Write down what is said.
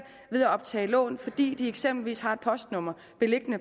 ved at optage lån fordi de eksempelvis har et postnummer